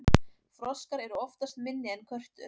froskar eru oftast minni en körtur